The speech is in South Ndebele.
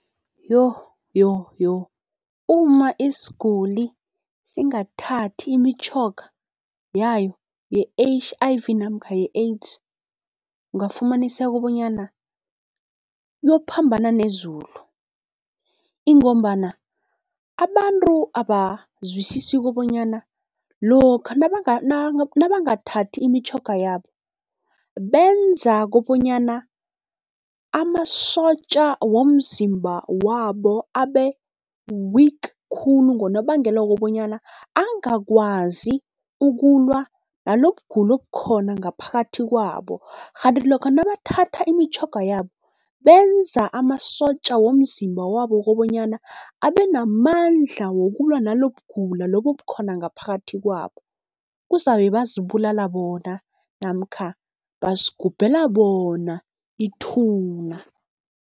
Yoh, yoh, yoh uma isiguli singathathi imitjhoga yayo ye-H_I_V namkha ye-AIDS, ungafumaniseka bonyana uyophambana nezulu. Ingombana abantu abazwisisi kobonyana lokha nabangathathi imtjhoga yabo, benza kobonyana amasotja womzimba wabo abe-weak khulu, ngonobangela wokobanyana angakwazi ukulwa nalokugula okukhona ngaphakathi kwabo. Rhanti lokha nabathatha imitjhoga yabo benza amasotja womzimba wabo kobonyana abe namandla wokulwa nalokugula lobu obukhona ngaphakathi kwabo. Kuzabe bazibulala bona namkha bazigubhela bona ithuna.